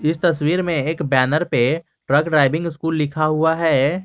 इस तस्वीर में एक बैनर पे ट्रक ड्राइविंग स्कूल लिखा हुआ है।